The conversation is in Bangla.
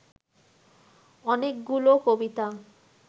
অনেকগুলো কবিতা